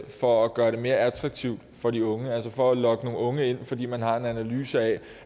for at gøre det mere attraktivt for de unge altså for at lokke nogle unge ind fordi man har en analyse af